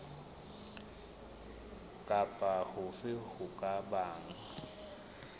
kapa hofe ho ka bang